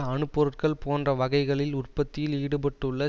அணு பொருட்கள் போன்ற வகைகளில் உற்பத்தியில் ஈடுபட்டுள்ள